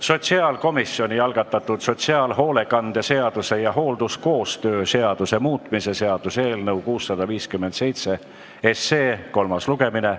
Sotsiaalkomisjoni algatatud sotsiaalhoolekande seaduse ja halduskoostöö seaduse muutmise seaduse eelnõu 657 kolmas lugemine.